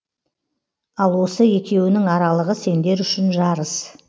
ал осы екеуінің аралығы сендер үшін жарыс